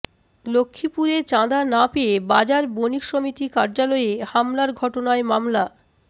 লক্ষ্মীপুরে চাঁদা না পেয়ে বাজার বণিক সমিতি কার্যালয়ে হামলার ঘটনায় মামলা